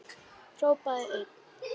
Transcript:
Hrópaði einn: